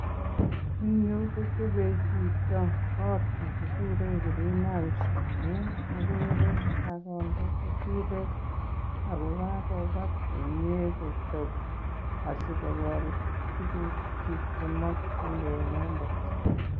En yu kochobe chito kot ne kiguuren greenhouse amun ogere kogende keturek ago kagobat komye kochop asikogol tugukchik che mokinge inendet.